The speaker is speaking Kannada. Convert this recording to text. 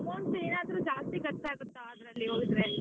Amount ಏನಾದ್ರು ಜಾಸ್ತಿ ಖರ್ಚು ಆಗುತ್ತಾ ಅಲ್ಲಿ ಅದ್ರಲ್ಲಿ ಹೋದ್ರೆ.